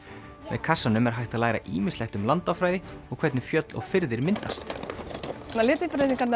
með kassanum er hægt að læra ýmislegt um landafræði og hvernig fjöll og firðir myndast